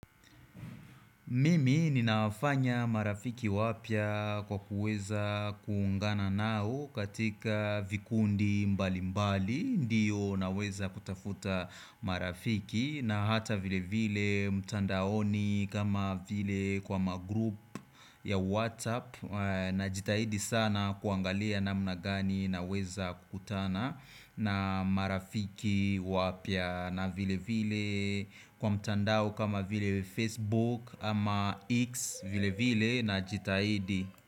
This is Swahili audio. Mimi ninafanya marafiki wapya kwa kuweza kuungana nao katika vikundi mbalimbali Ndiyo naweza kutafuta marafiki na hata vile vile mtandaoni kama vile kwa magroup ya WhatsApp Najitahidi sana kuangalia namna gani naweza kukutana na marafiki wapya na vile vile kwa mtandao kama vile Facebook ama X vile vile najitahidi.